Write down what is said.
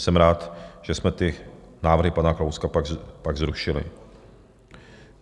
Jsem rád, že jsme ty návrhy pana Kalouska pak zrušili.